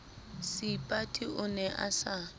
seipati o ne a sa